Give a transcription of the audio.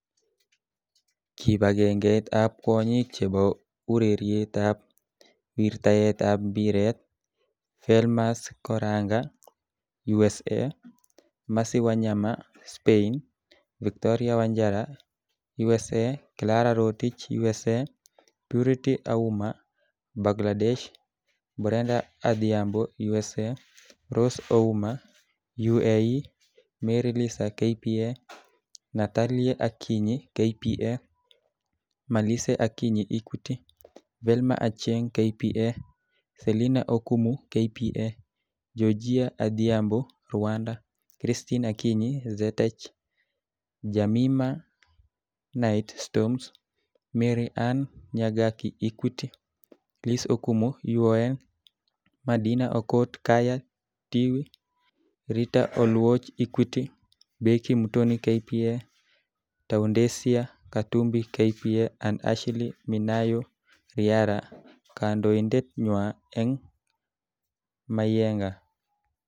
Kipagengeit ab kwonyik chebo ureriet ab wirtaet ab mpiret ,Felmas Koranga (USA), Mercy Wanyama (Spain), Victoria Wanjara (USA), Clara Rotich (USA), Purity Auma (Bagladesh), Brenda Adhiambo (USA), Rose Ouma (UAE), Mary Lisa (KPA), Natalie Akinyi (KPA), Melisa Akinyi (Equity), Velma Achieng (KPA), Selina Okumu (KPA),Georgia Adhiambo ( Rwanda),Christine Akinyi (Zetech), Jemmimah Knight (Storms), MaryAnne Nyagaki (Equity), Liz Okumu (UON), Medina Okot (KAYA Tiwi), Ritah Oluoch (Equity), Becky Muthoni (KPA), Taudencia Katumbi (KPA) and Ashley Minayo (Riara) Kandoindet nywa�eng�Mayienga,